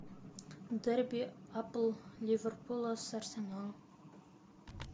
дерби апл ливерпуля с арсеналом